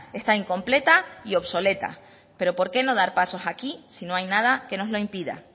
está incompleta y obsoleta pero por qué no dar pasos aquí si no hay nada que nos lo impida